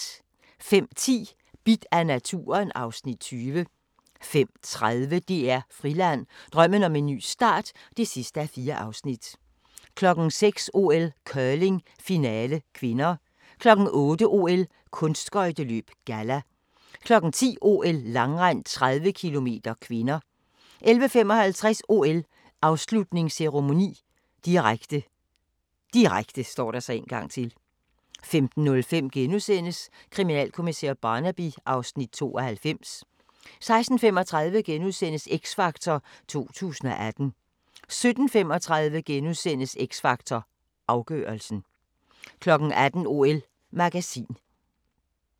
05:10: Bidt af naturen (Afs. 20) 05:30: DR Friland: Drømmen om en ny start (4:4) 06:00: OL: Curling, finale (k) 08:00: OL: Kunstskøjteløb, galla 10:00: OL: Langrend, 30 km (k) 11:55: OL: Afslutningsceremoni, direkte, direkte 15:05: Kriminalkommissær Barnaby (Afs. 92)* 16:35: X Factor 2018 * 17:35: X Factor Afgørelsen * 18:00: OL-magasin